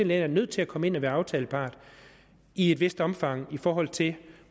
læger er nødt til at komme ind og være aftalepart i et vist omfang i forhold til